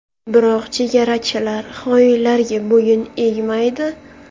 Biroq chegarachilar xoinlarga bo‘yin egmaydi.